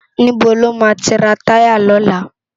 Nibó lámá ti rá tàyá lòlá?